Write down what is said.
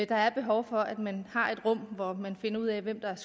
der er behov for at man har et rum hvor man finder ud af hvem